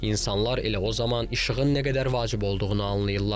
İnsanlar elə o zaman işığın nə qədər vacib olduğunu anlayırlar.